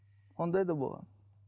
ондай да болған